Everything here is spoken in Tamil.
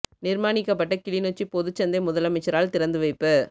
நிர்மாணிக்கப்பட்ட கிளிநொச்சி பொதுச் சந்தை முதலமைச்சரால் திறந்து வைப்பு